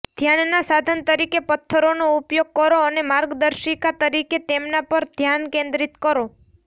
ધ્યાનના સાધન તરીકે પથ્થરોનો ઉપયોગ કરો અને માર્ગદર્શિકા તરીકે તેમના પર ધ્યાન કેન્દ્રિત કરો